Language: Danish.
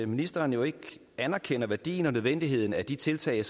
ministeren jo ikke anerkender værdien og nødvendigheden af de tiltag